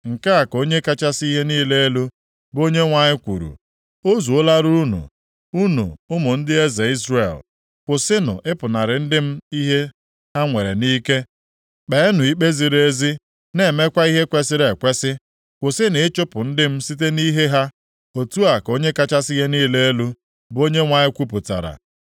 “ ‘Nke a ka Onye kachasị ihe niile elu, bụ Onyenwe anyị kwuru: O zuolara unu, unu ụmụ ndị eze Izrel. Kwụsịnụ ịpụnara ndị m ihe ha nwere nʼike, kpeenụ ikpe ziri ezi na-emekwa ihe kwesiri ekwesi. Kwụsịnụ ịchụpụ ndị m site nʼihe ha, otu a ka Onye kachasị ihe niile elu, bụ Onyenwe anyị kwupụtara.